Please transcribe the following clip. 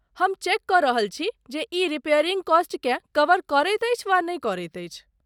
हम चेक कऽ रहल छी जे ई रिपेयरिंग कॉस्टकेँ कवर करैत अछि वा नहि करैत अछि।